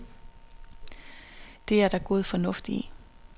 Det er der god fornuft i.